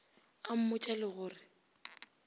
a mmotša le go re